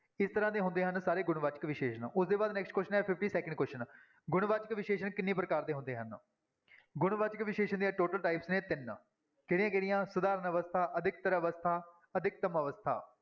ਇਸ ਤਰ੍ਹਾਂ ਦੇ ਹੁੰਦੇ ਹਨ ਸਾਰੇ ਗੁਣਵਾਚਕ ਵਿਸ਼ੇਸ਼ਣ, ਉਹਦੇ ਬਾਅਦ fifty-second next question ਹੈ question ਗੁਣਵਾਚਕ ਵਿਸ਼ੇਸ਼ਣ ਕਿੰਨੀ ਪ੍ਰਕਾਰ ਦੇੇ ਹੁੰਦੇ ਹਨ? ਗੁਣਵਾਚਕ ਵਿਸ਼ੇਸ਼ਣ ਦੀਆਂ total type ਨੇ ਤਿੰਨ, ਕਿਹੜੀਆਂ-ਕਿਹੜੀਆਂ, ਸਧਾਰਨ ਅਵਸਥਾ, ਅਧਿਕਤਰ ਅਵਸਥਾ, ਅਧਿਕਤਮ ਅਵਸਥਾ।